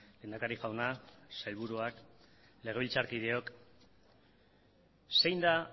lehendakari jauna sailburuak legebiltzarkideok zein da